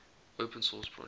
open source project